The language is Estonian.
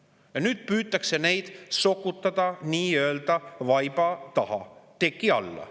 Ja nüüd püütakse neid sokutada nii-öelda vaiba, teki alla.